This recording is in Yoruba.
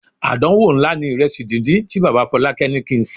Àdánwò ńlá ni ìrẹsì díndín tí bàbá Fọlákẹ́ ní kí n sè.